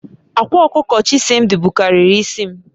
Akwa okuko Chisimdi bukariri isi m